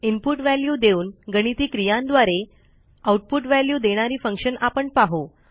input value देऊन गणिती क्रियांद्वारे आऊटपुट व्हॅल्यू देणारी फंक्शन आपण पाहू